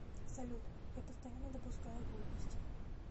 салют я постоянно допускаю глупости